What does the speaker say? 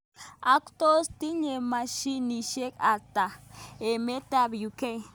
Ak tos tinye mashinishek atak emet ab UK.